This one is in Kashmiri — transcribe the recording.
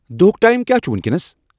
دُہک ٹایم کیا چُھ وینکینس ؟َ